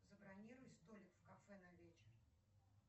забронируй столик в кафе на вечер